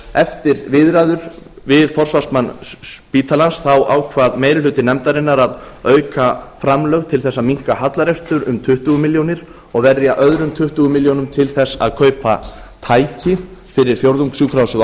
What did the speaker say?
eftir viðræður við forsvarsmann spítalans ákvað meiri hluti nefndarinnar að auka framlög til þess að minnka hallarekstur um tuttugu milljónir og verja öðrum tuttugu milljónir til þess að kaupa tæki fyrir fjórðungssjúkrahúsið á akureyri